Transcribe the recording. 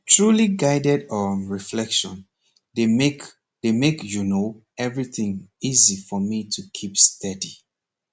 truly guided um reflection dey make dey make you know everything easy for me to keep steady